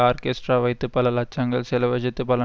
orchestra வைத்து பல லட்சங்கள் செலவஜைத்து பல